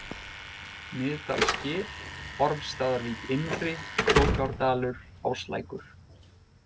Miðdalsgil, Ormsstaðavík innri, Krókárdalur, Áslækur